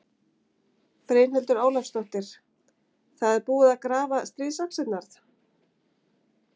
Brynhildur Ólafsdóttir: Það er búið að grafa stríðsaxirnar?